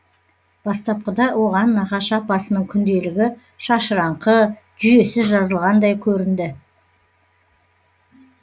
бастапқыда оған нағашы апасының күнделігі шашыраңқы жүйесіз жазылғандай көрінді